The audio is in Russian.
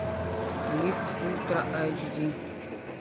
лифт ультра айч ди